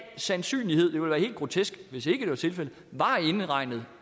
sandsynlighed det ville være helt grotesk hvis ikke det var tilfældet var indregnet